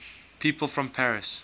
people from paris